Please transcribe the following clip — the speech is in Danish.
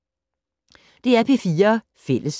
DR P4 Fælles